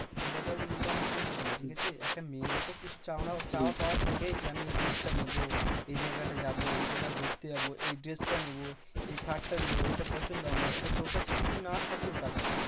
ছেলে ধর income করছে না, ঠিকাছে? একটা মেয়েরও তো কিছু চাওনা চাওয়া পাওয়া থাকে যে, আমি এই জিনিসটা নেবো, এই জায়গাটা যাবো, এই জায়গা ঘুরতে যাবো, এই dress টা নেবো, এই shirt টা নেবো, এইটা পছন্দ আমার, এবার তোর কাছে যদি না থাকুক টাকা